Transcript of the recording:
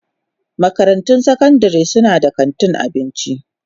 Makarantun sakandare suna da kantin abinci.